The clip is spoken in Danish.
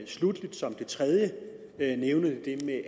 sluttelig vil jeg nævne det